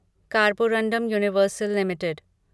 Carborundum Universal limited